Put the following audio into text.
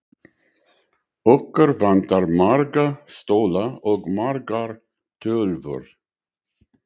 Okkur vantar marga stóla og margar tölvur.